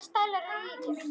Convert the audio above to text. Hvaða stælar eru í þér?